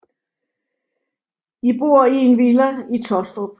De bor i en villa i Taastrup